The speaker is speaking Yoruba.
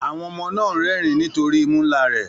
Àwọn ọmọ náà ń rẹ́rìn-ín nítorí imú ńlá rẹ̀